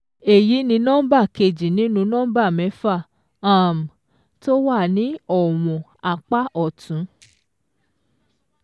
Èyí ni nọ́mbà kejì nínú nọ́mbà mẹ́fà um tó wà ní ọ̀wọ̀n apá ọ̀tún.